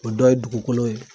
O dɔ ye dukukolo ye